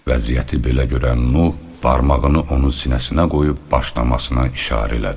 Vəziyyəti belə görən Nuh barmağını onun sinəsinə qoyub başlamasına işarə elədi.